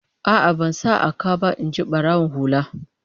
A'a, ban sa a ka ba, in ji barawon hula